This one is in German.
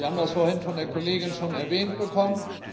Wir haben das vorhin von der Kollegin schon erwähnt bekommen.